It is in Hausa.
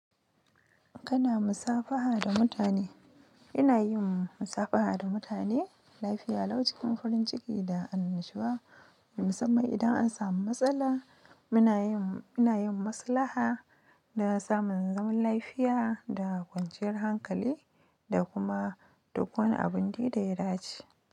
Kana musafaha da mutane? Ina yin musafaha da mutane lafiya lau cikin farin ciki da annashuwa, musamman idan an samu matsala muna yin, ina yin maslaha na samun zaman lafiya da kwanciyar hankali da kuma duk wani abin dai da ya dace.